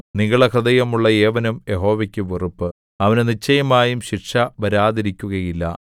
നിഗളഹൃദയമുള്ള ഏവനും യഹോവയ്ക്കു വെറുപ്പ് അവന് നിശ്ചയമായും ശിക്ഷ വരാതിരിക്കുകയില്ല